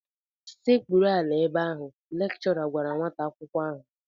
Sekpuru ala ebe ahụ! Lekchọra gwara nwata akwụkwọ ahụ